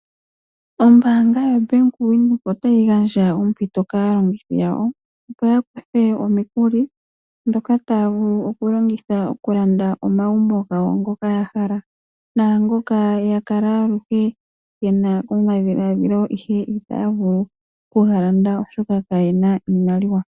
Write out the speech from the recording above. Ombaanga yoBank Windhoek otayi gandja ompito kaalongithi yawo opo yakuthe omikuli ndhoka taya vulu okulongitha okulanda omagumbo gawo ngoka ya hala. Naangoka ya kala aluhe yena omadhiladhilo ihe itaya vulu kugalanda oshoka kayena iimaliwa.